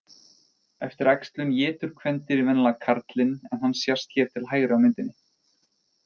Eftir æxlun étur kvendýrið venjulega karlinn en hann sést hér til hægri á myndinni.